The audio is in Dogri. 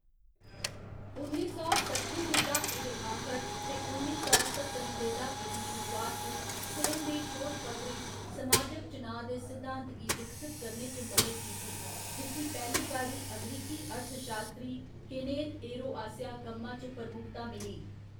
उन्नी सौ सट्ठें दे द्हाके दे आखर ते उन्नी सौ सत्तरें दे द्हाके दी शुरुआत च सेन दे शोधपत्रें समाजिक चुनाऽ दे सिद्धांत गी विकसत करने च मदद कीती, जिस्सी पैह्‌ली बारी अमरीकी अर्थशास्त्री, केनेथ एरो आसेआ कम्मा च प्रमुखता मिली।